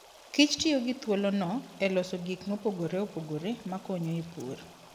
Kich tiyo gi thuolono e loso gik mopogore opogore makonyo e pur.